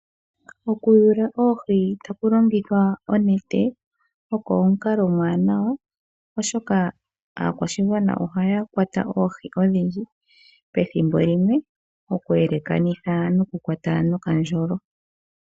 Okuyula oohi taku longithwa oonete oko omukalo omuwanawa, oshoka aakwashigwana ohaya kwata oohi odhindji pethimbo limwe okuyelekanitha nokukwata nokandjolo.